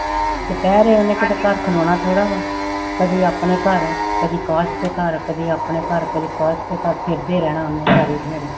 ਦੁਪਹਿਰੇ ਉਹਨੇ ਕਿਤੇ ਘਰ ਖਲੋਣਾ ਥੋੜ੍ਹਾ ਵਾ, ਕਦੇ ਆਪਣੇ ਘਰ ਕਦੇ ਅਕਾਸ ਦੇ ਘਰ, ਕਦੇ ਆਪਣੇ ਘਰ ਕਦੇ ਆਕਾਸ ਦੇ ਘਰ ਫਿਰਦੇ ਰਹਿਣਾ ਉਹਨੇ ਸਾਰੀ ਦਿਹਾੜੀ।